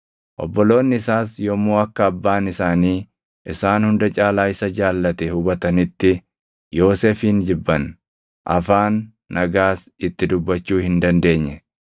Obboloonni isaas yommuu akka abbaan isaanii isaan hunda caalaa isa jaallate hubatanitti Yoosefin jibban; afaan nagaas itti dubbachuu hin dandeenye.